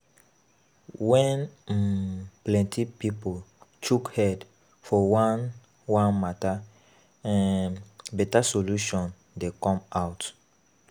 When um plenty pipo chook head for one one matter, better um solution dey come out